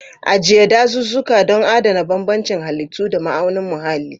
Ajiye dazuzzuka don adana bambancin halittu da ma'aunin muhalli.